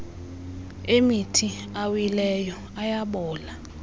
emithi awileyo ayabola